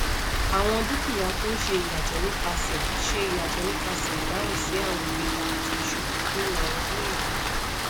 awọn dukia tun ṣe iyatọ nipasẹ ṣe iyatọ nipasẹ idahun si awọn igbega ati isubu ninu awọn owo ele